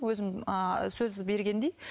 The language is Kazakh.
өзім ыыы сөз бергендей